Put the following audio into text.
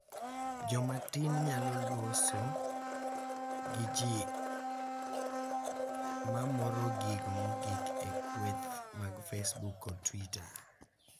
Joma tin nyalo loso gi ji mamoro gigo mogik e kweth mag Facebook kod Twitter,